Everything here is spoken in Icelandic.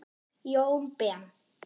Jón Ben.